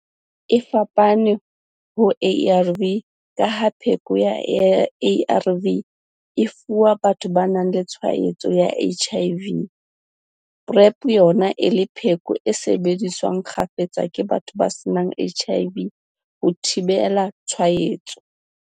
E fapane ho ARV ka ha pheko ya ARV e fuwa batho ba nang le tshwaetso ya HIV, PrEP yona e le pheko e sebediswang kgafetsa ke batho ba senang HIV ho thibela tshwaetso.